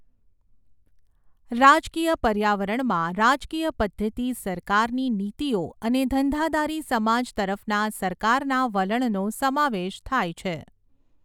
રાજકીય પર્યાવરણમાં રાજકીય પદ્ધતિ સરકારની નીતિઓ અને ધંધાદારી સમાજ તરફના સરકારના વલણનો સમાવેશ થાય છે.